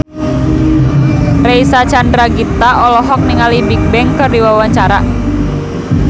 Reysa Chandragitta olohok ningali Bigbang keur diwawancara